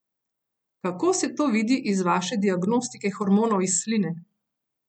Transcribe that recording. Kako se to vidi iz vaše diagnostike hormonov iz sline?